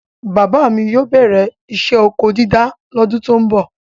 Bàbá mi yóó bẹ̀rẹ isẹ́ ọkọ dídá lọ́dún tó ń bọ̀.